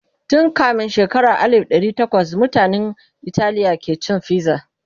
tun kamin shekara alif dari tawas mutanan Italiya ke cin fiza